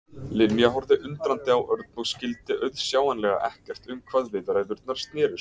Linja horfði undrandi á Örn og skyldi auðsjáanlega ekkert um hvað viðræðurnar snerust.